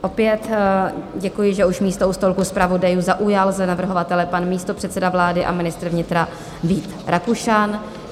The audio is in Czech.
Opět děkuji, že už místo u stolku zpravodajů zaujal za navrhovatele pan místopředseda vlády a ministr vnitra Vít Rakušan.